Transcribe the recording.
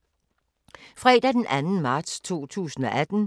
Fredag d. 2. marts 2018